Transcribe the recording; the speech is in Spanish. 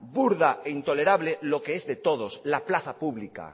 burda e intolerable lo que es de todos la plaza pública